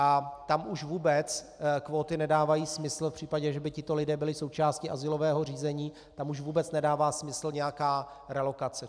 A tam už vůbec kvóty nedávají smysl v případě, že by tito lidé byli součástí azylového řízení, tam už vůbec nedává smyslu nějaká relokace.